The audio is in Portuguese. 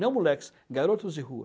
Não moleques, garotos de rua.